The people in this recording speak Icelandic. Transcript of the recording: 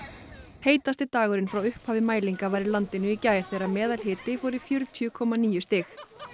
heitasti dagurinn frá upphafi mælinga var í landinu í gær þegar meðalhiti fór í fjörutíu komma níu stig